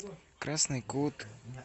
красный кут